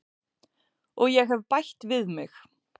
Og ég hef bætt við mig.